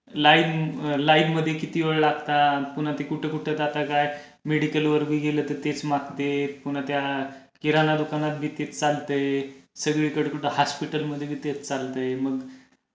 line line मध्ये किती वेळ लागता पुन्हा ते कुठे कुठे मेडिकल वर बी गेलं की तेच मागतेत पुन्हा त्या किराणा दुकानात बी तेच चालतय सगळीकडे कुठे हास्पिटल मध्ये बी तेच चालतय